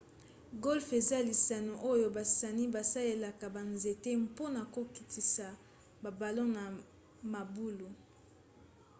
golfe eza lisano oyo basani basalelaka banzete mpona kokotisa babalon na mabulu